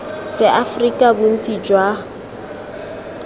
seaforika bontsi jwa ik jo